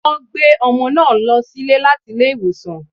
Wọ́n gbé ọmọ náà lọ sílé láti ilé ìwòsàn